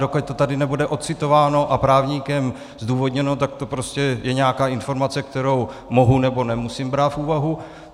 Dokud to tady nebude ocitováno a právníkem zdůvodněno, tak to prostě je nějaká informace, kterou mohu, nebo nemusím brát v úvahu.